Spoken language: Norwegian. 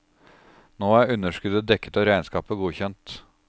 Nå er underskuddet dekket og regnskapet godkjent.